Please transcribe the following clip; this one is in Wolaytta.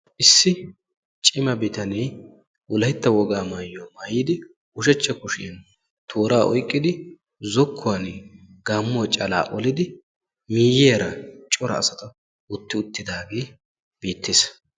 Issi cima bitanee wolaytta wogaa maayuwaa maayidi ushshachcha kushshiyaan tooraa oyqqidi zokkuwaani gaammuwaa calaa olidi miyiyaara cora asata wotti uttidagee beettees.